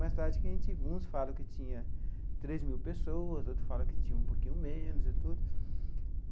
Mais tarde, que a gente uns falam que tinha três mil pessoas, outros falam que tinha um pouquinho menos e tudo.